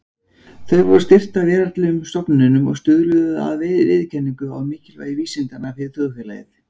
Þau voru styrkt af veraldlegum stofnunum og stuðluðu að viðurkenningu á mikilvægi vísindanna fyrir þjóðfélagið.